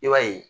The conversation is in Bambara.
I b'a ye